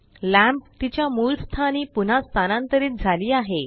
lamp तिच्या मूळ स्थानी पुन्हा स्थानांतरित झाली आहे